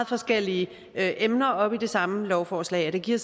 forskellige emner op i det samme lovforslag det giver